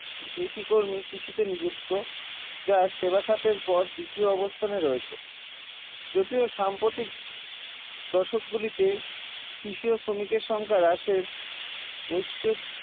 কৃষি কর্মী কৃষিতে নিযুক্ত যা সেবা খাতের পর দ্বিতীয় অবস্থানে রয়েছে যদিও সাম্প্রতিক দশক গুলিতে কৃষি ও শ্রমিকের সংখ্যা হ্রাসের বৈশ্বিক